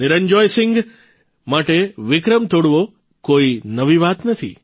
નિરંજોય સિંહ માટે વિક્રમ તોડવો કોઇ નવી વાત નથી